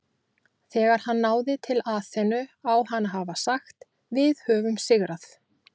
Þegar hann náði til Aþenu á hann að hafa sagt Við höfum sigrað!